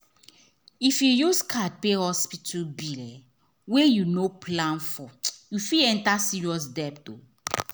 if you use card pay hospital bill wey you no plan foryou fit enter serious debt